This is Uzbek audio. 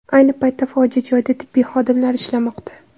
Ayni paytda fojia joyida tibbiy xodimlar ishlamoqda.